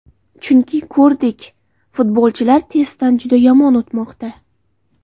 Chunki ko‘rdik, futbolchilar testdan juda yomon o‘tmoqda.